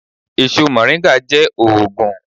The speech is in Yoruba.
Èso Moringa jé òògùn.